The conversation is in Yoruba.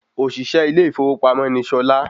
Òsìsé ilé ìfọwọ́sowọ́pọ̀ ni Sola